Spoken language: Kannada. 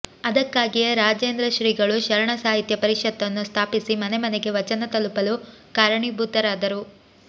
ಅದಕ್ಕಾಗಿಯೇ ರಾಜೇಂದ್ರ ಶ್ರೀಗಳು ಶರಣ ಸಾಹಿತ್ಯ ಪರಿಷತ್ತನ್ನು ಸ್ಥಾಪಿಸಿ ಮನೆಮನೆಗೆ ವಚನ ತಲುಪಲು ಕಾರಣೀಭೂತರಾದರು